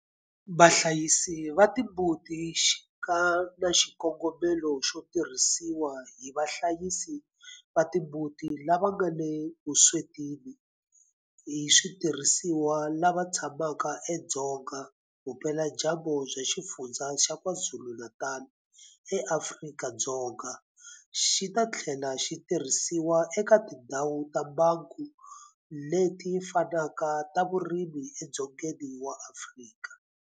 Vahlayisi va timbuti xi nga na xikongomelo xo tirhisiwa hi vahlayisi va timbuti lava nga le vuswetini hi switirhisiwa lava tshamaka edzonga vupeladyambu bya Xifundzha xa KwaZulu-Natal eAfrika-Dzonga, xi ta tlhela xi tirhisiwa eka tindhawu ta mbango leti fanaka ta vurimi edzongeni wa Afrika.